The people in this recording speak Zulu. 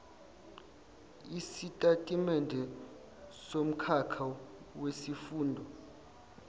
isitatimende somkhakha wesifundo